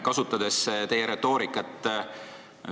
Kasutan teie retoorikat.